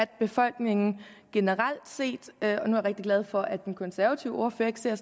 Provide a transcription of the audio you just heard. befolkningen generelt set er jeg rigtig glad for at den konservative ordfører ikke ser